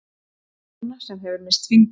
Kona sem hefur misst fingur.